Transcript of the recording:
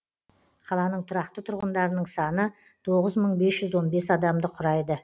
қаланың тұрақты тұрғындарының саны тоғыз мың бес жүз адамды құрайды